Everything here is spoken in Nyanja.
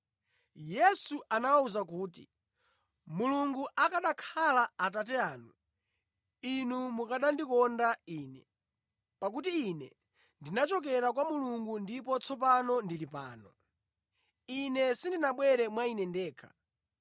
Yesu anawawuza kuti, “Mulungu akanakhala Atate anu, inu mukanandikonda Ine, pakuti Ine ndinachokera kwa Mulungu ndipo tsopano ndili pano. Ine sindinabwere mwa Ine ndekha.